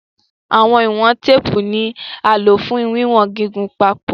Awọn iwọn teepu ni a lo fun wiwọn gigun pako